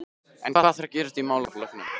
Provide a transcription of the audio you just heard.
En hvað þarf að gerast í málaflokknum?